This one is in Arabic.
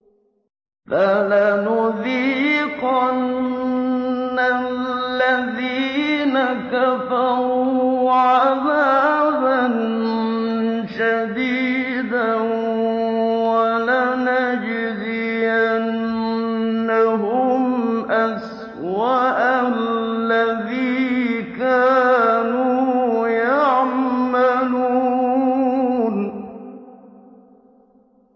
فَلَنُذِيقَنَّ الَّذِينَ كَفَرُوا عَذَابًا شَدِيدًا وَلَنَجْزِيَنَّهُمْ أَسْوَأَ الَّذِي كَانُوا يَعْمَلُونَ